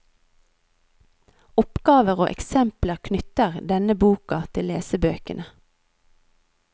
Oppgaver og eksempler knytter denne boka til lesebøkene.